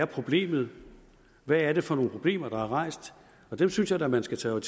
problemet hvad er det for nogle problemer der er rejst og dem synes jeg da man skal tage